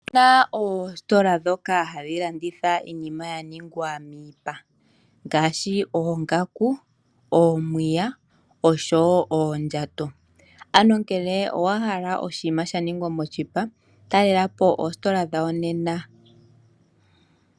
Ope na oositola ndhoka hadhi landitha iinima ya ningwa miipa ngaashi oongaku, omapaya noshowo oondjato. Ngele owa hala oshinima sha ningwa moshipa talela po oositola dhawo nena.